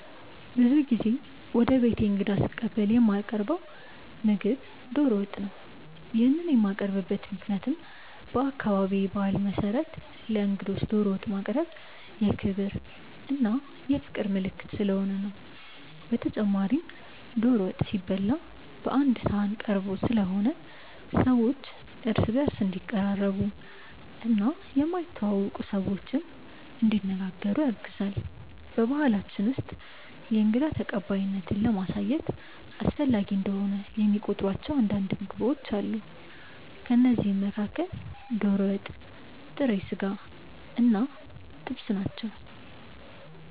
ብዙ ጊዜ ወደ ቤቴ እንግዳ ስቀበል የማቀርው ምግብ ዶሮ ወጥ ነው። ይሄንን የማቀርብበት ምክንያትም በአካባቢዬ ባህል መሰረት ለእንግዶች ዶሮ ወጥ ማቅረብ የክብር እና የፍቅር ምልክት ስለሆነ ነው። በተጨማሪም ዶሮ ወጥ ሲበላ ቀአንድ ሰሀን ተቀርቦ ስለሆነ ሰዎች እርስ በእርስ እንዲቀራረቡ እና የማይተዋወቁ ሰዎችንም እንዲነጋገሩ ያግዛል። በባሕላችን ውስጥ የእንግዳ ተቀባይነትን ለማሳየት አስፈላጊ እንደሆነ የሚቆጥሯቸው አንዳንድ ምግቦች አሉ። ከእነዚህም መካከል ዶሮ ወጥ፣ ጥሬ ስጋ እና ጥብስ ናቸው።